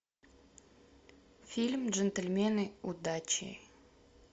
фильм джентельмены удачи